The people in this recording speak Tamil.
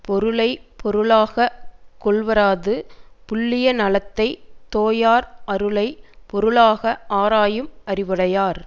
பொருளை பொருளாக கொள்வாராது புல்லிய நலத்தைத் தோயார் அருளை பொருளாக ஆராயும் அறிவுடையார்